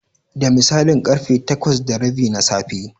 Da misalin ƙarfe takwas da rabi na safe.